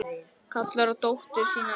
Kallar á dóttur sína inn.